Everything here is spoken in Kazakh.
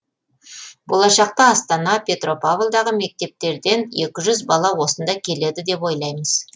болашақта астана петропавлдағы мектептерден екі жүз бала осында келеді деп ойлаймыз